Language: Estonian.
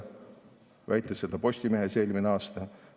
Ta väitis seda Postimehes eelmisel aastal.